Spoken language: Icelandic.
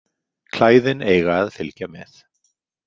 Klæðin eiga að fylgja með